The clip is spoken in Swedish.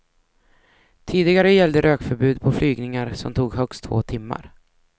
Tidigare gällde rökförbud på flygningar som tog högst två timmar.